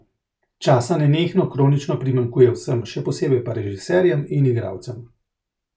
Časa nenehno kronično primanjkuje vsem, še posebej pa režiserjem in igralcem.